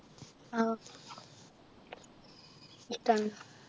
ആഹ് ഇഷ്ടാണ്